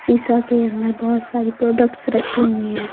सीसा के अंदर बहुत सारी प्रोडक्ट्स रखी हुई हैं।